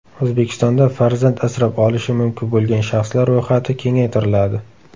O‘zbekistonda farzand asrab olishi mumkin bo‘lgan shaxslar ro‘yxati kengaytiriladi.